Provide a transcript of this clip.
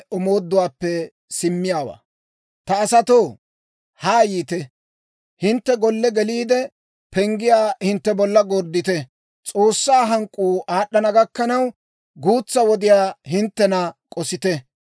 Ta asatoo, haa yiite; hintte golle geliide, penggiyaa hintte bolla gorddite. S'oossaa hank'k'uu aad'd'ana gakkanaw, guutsaa wodiyaa hinttena k'osite.